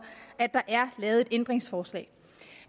at der er lavet et ændringsforslag